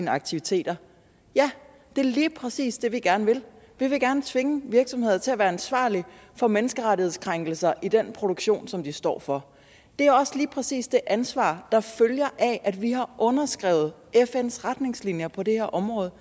aktiviteter ja det er lige præcis det vi gerne vil vi vil gerne tvinge virksomheder til at være ansvarlige for menneskerettighedskrænkelser i den produktion som de står for det er også lige præcis det ansvar der følger af at vi har underskrevet fns retningslinjer på det her område